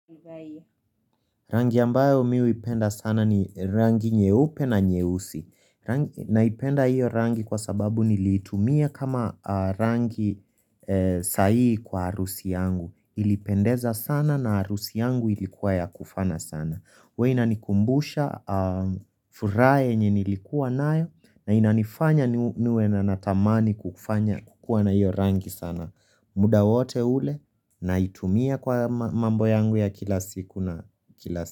Rangi ambayo mi huipenda sana ni rangi nyeupe na nyeusi Naipenda iyo rangi kwa sababu nilitumia kama rangi sahii kwa harusi yangu Ilipendeza sana na arusi yangu ilikuwa ya kufana sana huwa inanikumbusha furaha yenye nilikuwa nayo na inanifanya niwe na natamani kufanya kukua na hiyo rangi sana muda wote ule naitumia kwa mambo yangu ya kila siku na kila siku.